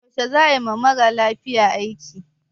Yaushe za a yi wa mara lafiyan aiki?